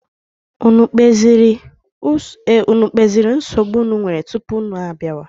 Unu ekpeziri nsogbu unu nwere tupu unu abịawa?